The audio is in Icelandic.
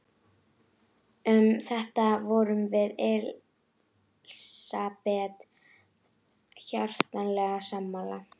Um þetta vorum við Elsabet hjartanlega sammála.